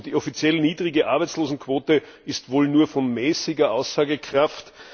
Und die offiziell niedrige Arbeitslosenquote ist wohl nur von mäßiger Aussagekraft.